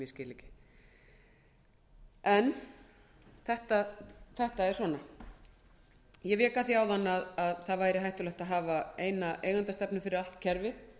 sem ég skil ekki þetta er svona ég vék að því áðan að það væri hættulegt að hafa eina eigendastefnu fyrir allt kerfið